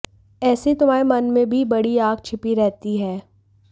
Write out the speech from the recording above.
ऐसे ही तुम्हारे मन में भी बड़ी आग छिपी रहती है